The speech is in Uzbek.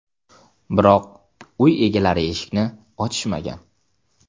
Biroq, uy egalari eshikni ochishmagan.